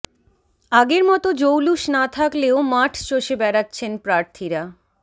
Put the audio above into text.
আগের মতো জৌলুস না থাকলেও মাঠ চষে বেড়াচ্ছেন প্রার্থীরা